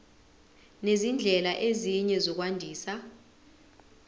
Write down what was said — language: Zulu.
nezindlela ezinye zokwandisa